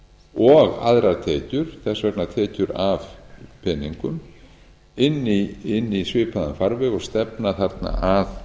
og aðrar tekjur þess vegna tekjur af peningum inn í svipaðan farveg og stefna þarna að